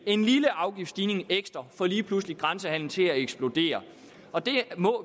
en lille afgiftsstigning ekstra lige pludselig får grænsehandelen til at eksplodere